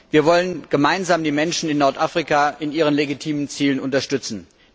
Wir wollen gemeinsam die Menschen in Nordafrika in ihren legitimen Zielen unterstützen.